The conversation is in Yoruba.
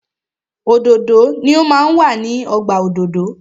Òdòdó ni o máa ń wà ní ọgbà òdòdó.